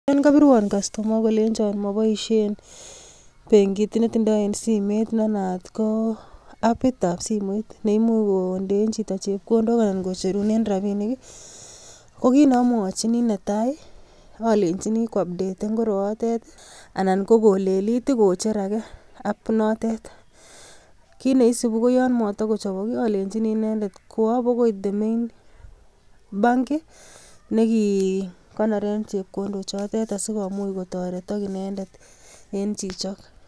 Yon kobiruon kastooma akolenyooon moboishie benkit, netindoi en simet nenaat ko app nebo simoit. Neimuch kondeen chito chepkondook, anan komonoren rabinik. Kokit neomwochini netai alenyini ko updaten koroyoitet, anan ko koleliit kocher age. Kit neisibu ko yon motokochobok olenyiink, inendet kwo bokoi the main bank nekikonooren chepkondook chotet asikomuch kotoretook inendet en chichok.